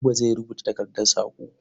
Buba zai rubuta takardar saƙo.